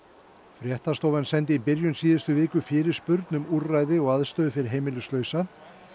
fréttastofan sendi í byrjun síðustu viku fyrirspurn um úrræði og aðstöðu fyrir heimilislausa